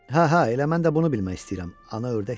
"Hə, hə, elə mən də bunu bilmək istəyirəm", ana ördək dedi.